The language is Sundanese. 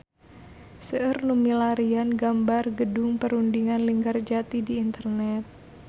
Seueur nu milarian gambar Gedung Perundingan Linggarjati di internet